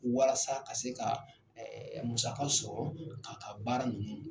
Walasa ka se ka musaka sɔrɔ k'a ka baara ninnu